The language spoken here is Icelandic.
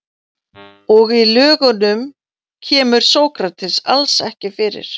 Og í Lögunum kemur Sókrates alls ekki fyrir.